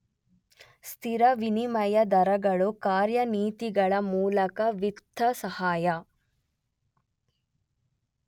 ಸ್ಥಿರ ವಿನಿಮಯ ದರಗಳು ಕಾರ್ಯನೀತಿಗಳ ಮೂಲಕ ವಿತ್ತ ಸಹಾಯ